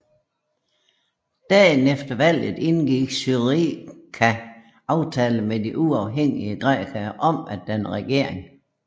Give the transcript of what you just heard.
Dagen efter valget indgik SYRIZA aftale med de uafhængige grækere om at danne regering